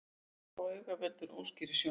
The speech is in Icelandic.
Ský á auga veldur óskýrri sjón.